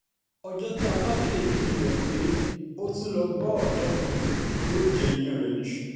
ọjọ́ tá a bá kẹ́ẹ́fín rẹ̀ pé ó tún lọ́ọ́ bọ́ ọ̀dọ́ kan yóò jẹ́ ìyàn rẹ̀ níṣu